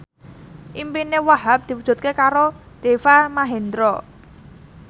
impine Wahhab diwujudke karo Deva Mahendra